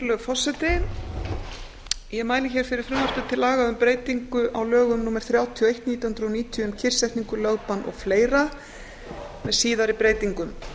virðulegur forseti ég mæli hér fyrir frumvarpi til laga um breytingu á lögum númer þrjátíu og eitt nítján hundruð níutíu um kyrrsetningu lögbann og fleiri með síðari breytingum